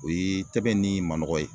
O ye tɛbɛn ni manɔgɔ ye.